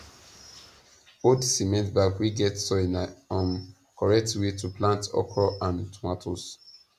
old cement bag wey get soil na um correct way to plant okra and tomatoes